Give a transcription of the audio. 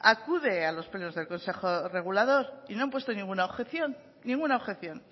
acude a los plenos del consejo regulador y no han puesto ninguna objeción ninguna objeción